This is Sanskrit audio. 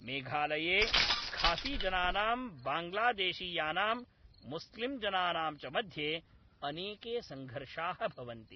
मेघालये खासीजनानां बाङ्ग्लादेशीयानां मुस्लिम्जनानां च मध्ये अनेके संघर्षाः भवन्ति।